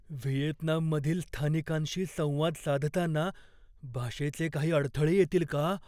व्हिएतनाममधील स्थानिकांशी संवाद साधताना भाषेचे काही अडथळे येतील का?